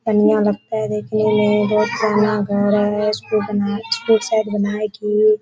पनिया लगता है देखने में बहुत पनिया गहरा है --